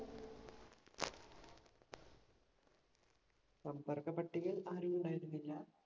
സമ്പർക്ക പട്ടികയിൽ ആരും ഉണ്ടായിരുന്നില്ല.